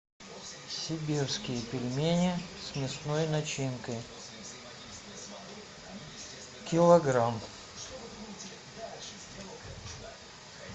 сибирские пельмени с мясной начинкой килограмм